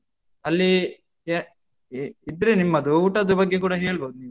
ಅಲ್ಲೀ ಯ ಎ ಇದ್ರೆ ನಿಮ್ಮದು ಊಟದ ಬಗ್ಗೆ ಕೂಡ ಹೇಳ್ಬೋದು ನೀವ್.